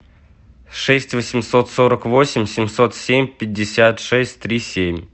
шесть восемьсот сорок восемь семьсот семь пятьдесят шесть три семь